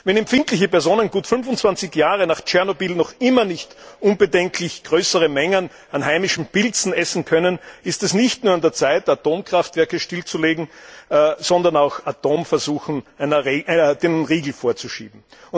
Wenn empfindliche Personen gut 25 Jahre nach Tschernobyl noch immer nicht unbedenklich größere Mengen an heimischen Pilzen essen können, ist es nicht nur an der Zeit, Atomkraftwerke stillzulegen, sondern auch Atomversuchen den Riegel vorzuschieben.